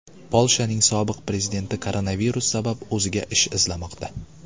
Polshaning sobiq prezidenti koronavirus sabab o‘ziga ish izlamoqda.